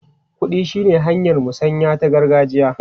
Kuɗi shine hanyar musanya ta gargajiya.